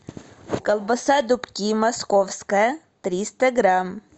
колбаса дубки московская триста грамм